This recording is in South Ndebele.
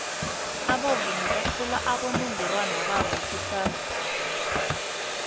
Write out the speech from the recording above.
abavumi bathola abonongorwana babo kusasa